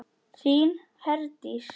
Þín Herdís.